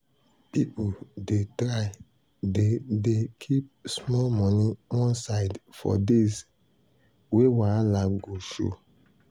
people dey try dey dey keep small money one side for days wey wahala go show.